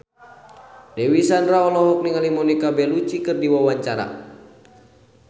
Dewi Sandra olohok ningali Monica Belluci keur diwawancara